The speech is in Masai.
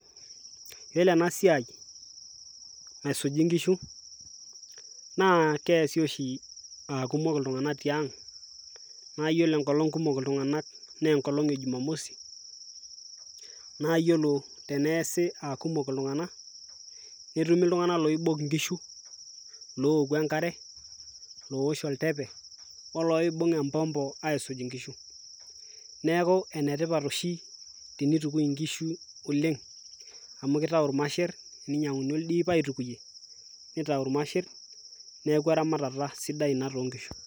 Iyiolo ena siai naisuji nkishu naa keasi oshi aa kumok iltung'anak tiang' naa iyiolo enkolong' kumok iltung'anak naa enkolong'e jumamosi, naa iyiolo teneasi a kumok iltung'anak netumi iltung'anak loibok nkishu, looku enkare, loosh entepe, oloibung' embombo aisuj nkishu. Neeku ene tipat oshi tenitukui nkishu oleng' amu kitau irmasher, eninyang'uni oldip aitukunye nitau irmasher neeku eramatata sidai ina too nkishu.